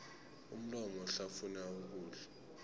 umlomo uhlafunya ukudla